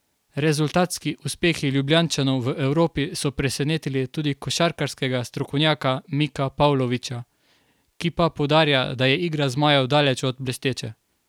Rezultatski uspehi Ljubljančanov v Evropi so presenetili tudi košarkarskega strokovnjaka Mika Pavloviča, ki pa poudarja, da je igra zmajev daleč od blesteče.